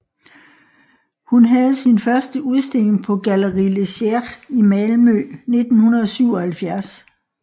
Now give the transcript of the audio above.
Hun havde sin første udstilling på Galleri Legér i Malmø 1977